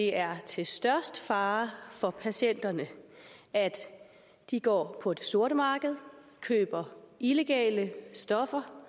er til størst fare for patienterne at de går på det sorte marked og køber illegale stoffer